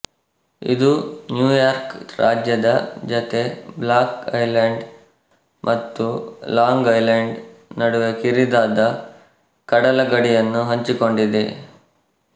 ಇದು ನ್ಯೂಯಾರ್ಕ್ ರಾಜ್ಯದ ಜತೆ ಬ್ಲಾಕ್ ಐಲೆಂಡ್ ಮತ್ತು ಲಾಂಗ್ ಐಲೆಂಡ್ ನಡುವೆ ಕಿರಿದಾದ ಕಡಲಗಡಿಯನ್ನು ಹಂಚಿಕೊಂಡಿದೆ